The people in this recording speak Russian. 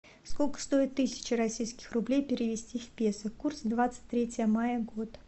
сколько стоит тысяча российских рублей перевести в песо курс двадцать третье мая год